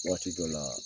Waati dɔ la